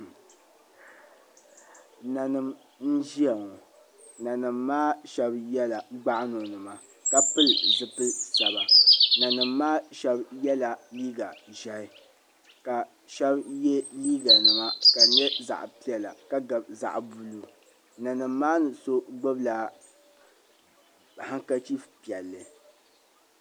Nanima n ʒia ŋɔ nanima maa Sheba yela gbaɣano nima ka bili zipil saba nanima maa Sheba yela liiga ʒehi ka Sheba ye liiga nima ka di nyɛ liiga piɛla ka di gabi zaɣa buluu nanima maa ni so gbibi la ankachifu piɛlli.